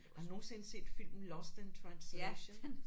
Har du nogensinde set filmen Lost in Translation?